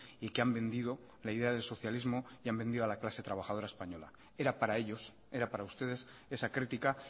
y que han vendido la idea del socialismo han vendido a la clase trabajadora española era para ellos era para ustedes esa crítica